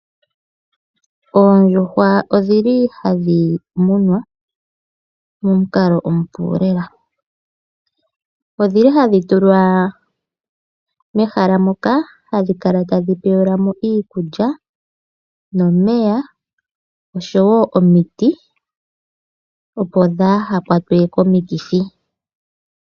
Oondjuhwa odhili hadhi munwa momukalo omupu lela odhili hadhitulwa mehala moka hadhi kala tadhi pewelwamo iikulya, nomeya osho woo omiti opo dhaa hakwatwe komikithi.